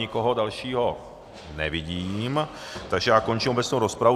Nikoho dalšího nevidím, takže já končím obecnou rozpravu.